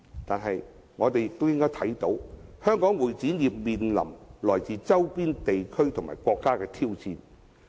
但是，我們也應看到，香港會展業面臨來自周邊地區及國家的挑戰。